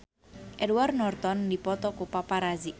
Edward Norton dipoto ku paparazi